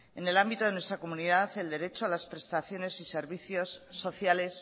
en el ámbito de nuestra comunidad el derecho a las prestaciones y servicios sociales